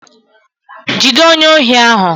Jide onye ohi ahu